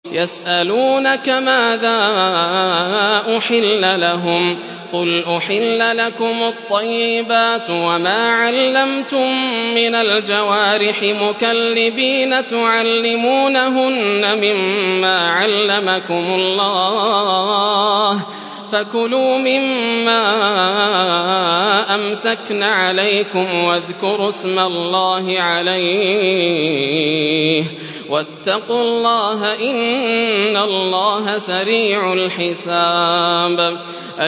يَسْأَلُونَكَ مَاذَا أُحِلَّ لَهُمْ ۖ قُلْ أُحِلَّ لَكُمُ الطَّيِّبَاتُ ۙ وَمَا عَلَّمْتُم مِّنَ الْجَوَارِحِ مُكَلِّبِينَ تُعَلِّمُونَهُنَّ مِمَّا عَلَّمَكُمُ اللَّهُ ۖ فَكُلُوا مِمَّا أَمْسَكْنَ عَلَيْكُمْ وَاذْكُرُوا اسْمَ اللَّهِ عَلَيْهِ ۖ وَاتَّقُوا اللَّهَ ۚ إِنَّ اللَّهَ سَرِيعُ الْحِسَابِ